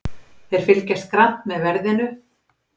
Þeir fylgjast grannt með verðinu